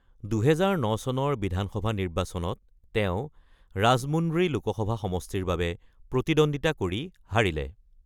২০০৯ চনৰ বিধানসভা নিৰ্বাচনত তেওঁ ৰাজমুন্দ্ৰী লোকসভা সমষ্টিৰ বাবে প্ৰতিদ্বন্দ্বিতা কৰি হাৰিলে।